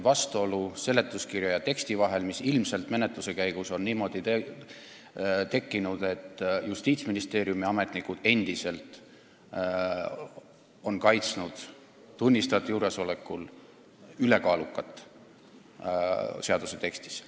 Seega on seletuskirja ja eelnõu teksti vahel vastuolu, mis on ilmselt menetluse käigus tekkinud, sest Justiitsministeeriumi ametnikud on tunnistajate juuresolekul endiselt kaitsnud sõna "ülekaalukas" seaduse tekstis.